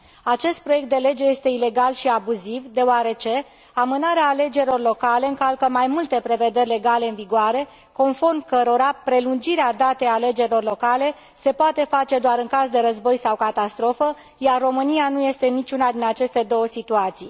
Acest proiect de lege este ilegal și abuziv deoarece amânarea alegerilor locale încalcă mai multe prevederi legale în vigoare conform cărora prelungirea datei alegerilor locale se poate face doar în caz de război sau catastrofă, iar România nu este în niciuna din aceste două situații.